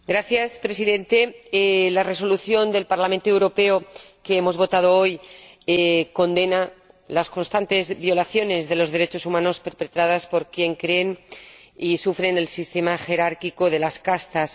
Señor Presidente, la Resolución del Parlamento Europeo que hemos votado hoy condena las constantes violaciones de los derechos humanos perpetradas por quienes creen y sufren el sistema jerárquico de las castas.